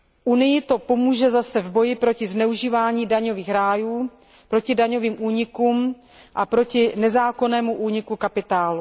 Unii to pomůže zase v boji proti zneužívání daňových rájů, proti daňovým únikům a proti nezákonnému úniku kapitálu.